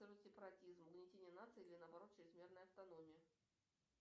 сепаратизм угнетение нации или наоборот чрезмерная автономия